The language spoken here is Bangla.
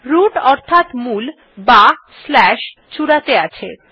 রুট অর্থাৎ মূল অথবা চূড়াতে আছে